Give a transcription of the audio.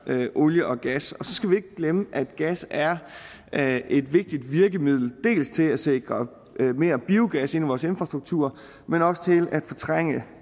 olie og gas så skal vi ikke glemme at gas er er et vigtigt virkemiddel både til at sikre mere biogas ind i vores infrastruktur men også til at fortrænge